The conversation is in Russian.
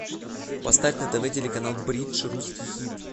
поставь на тв телеканал бридж русский хит